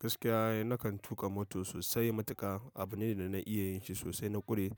Gaskiya eh nakan tuƙa moto sosai. Matuka abu ne da na iya yin shi sosai. Na ƙure